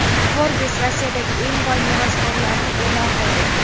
Forbes Rossiyadagi eng boy merosxo‘rlarni e’lon qildi.